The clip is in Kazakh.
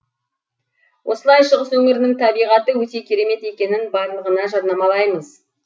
осылай шығыс өңірінің табиғаты өте керемет екенін барлығына жарнамалаймыз